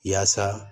Yaasa